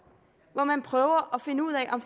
hvor man prøver at finde ud af om